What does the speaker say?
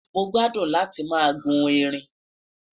mọ gbádùn láti má guun ẹrín